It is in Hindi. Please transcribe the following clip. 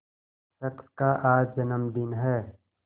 शख्स का आज जन्मदिन है